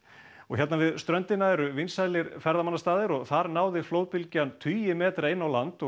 hérna við ströndina eru vinsælir ferðamannastaðir og þar náði flóðbylgjan tugi metra inn á land